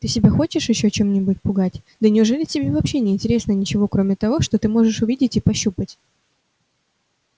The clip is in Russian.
ты себя хочешь ещё чем-нибудь попугать да неужели тебе вообще не интересно ничего кроме того что ты можешь увидеть и пощупать